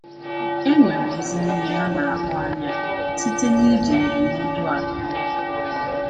E nwere ezi ihe a na-ahụ anya site n’iji ndụmọdụ a eme ihe.